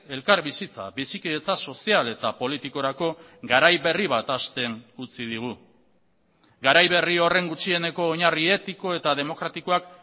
elkarbizitza bizikidetza sozial eta politikorako garai berri bat hasten utzi digu garai berri horren gutxieneko oinarri etiko eta demokratikoak